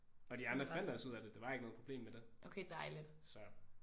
Og de andre finder også ud af det. Der var ikke noget problem med det så